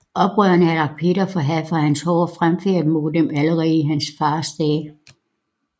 Oprørerne havde lagt Peter for had for hans hårde fremfærd mod dem allerede i hans fars dage